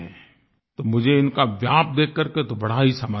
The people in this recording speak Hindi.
तो मुझे इनका व्याप देखकर के तो बड़ा ही समाधान हुआ